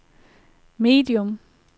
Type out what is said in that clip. medium